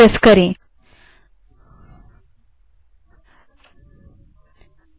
बाहर आने के लिए क्यू q दबायें